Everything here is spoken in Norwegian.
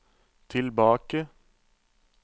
tilbake